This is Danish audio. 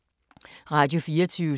Radio24syv